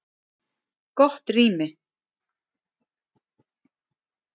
Gott rými